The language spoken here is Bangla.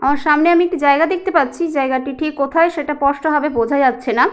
আমার সামনে আমি একটি জায়গা দেখতে পাচ্ছি জায়গাটি ঠিক কোথায় সেটা স্পষ্ট ভাবে বোঝা যাচ্ছে না।